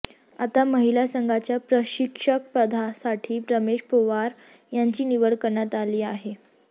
आता महिला संघाच्या प्रशिक्षक पदासाठी रमेश पोवार यांची निवड करण्यात आली आहे